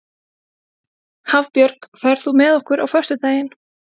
Hafbjörg, ferð þú með okkur á föstudaginn?